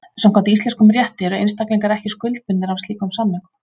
Samkvæmt íslenskum rétti eru einstaklingar ekki skuldbundnir af slíkum samningum.